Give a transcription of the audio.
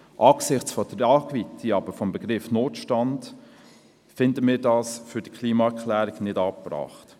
Angesichts der Tragweite des Begriffs «Notstand» finden wir diesen jedoch für die Klimaerklärung nicht angebracht.